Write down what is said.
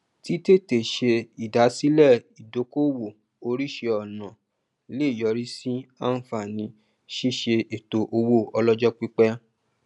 títètè ṣe ìdásílẹ ìdókowò oríṣi ọnà le yọrí sí àǹfààní ṣíṣe ètò owó ọlọjọ pípẹ